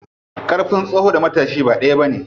Ƙarfin tsoho da matashi ba ɗaya bane.